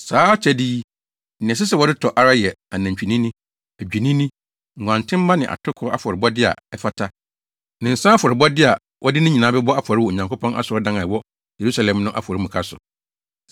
Saa akyɛde yi, nea ɛsɛ sɛ wɔde tɔ ara yɛ anantwinini, adwennini, nguantenmma ne atoko afɔrebɔde a ɛfata, ne nsa afɔrebɔde a wɔde ne nyinaa bɛbɔ afɔre wɔ Onyankopɔn asɔredan a ɛwɔ Yerusalem no afɔremuka so.